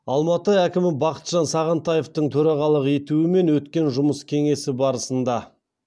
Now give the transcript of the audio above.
алматы әкімі бақытжан сағынтаевтың төрағалық етуімен өткен жұмыс кеңесі барысында